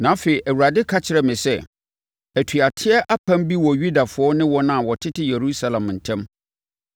Na afei Awurade ka kyerɛɛ me sɛ, “Atuateɛ apam bi wɔ Yudafoɔ ne wɔn a wɔtete Yerusalem ntam.